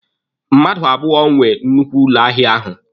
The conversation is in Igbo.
Mmadụ abụọ nwe nnukwu ụlọ ahịa ahụ.